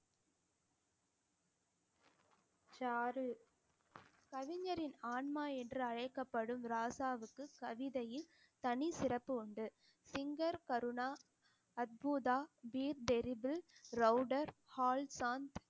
சாறு கவிஞரின் ஆன்மா என்று அழைக்கப்படும் ராசாவுக்கு கவிதையில் தனி சிறப்பு உண்டு singer கருணா அத்புதா ரவுடர் ஹால்சாந்த்